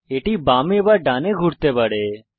এটি বামে বা ডানে ঘুরতে পারে